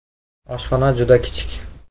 Oshxona juda kichik.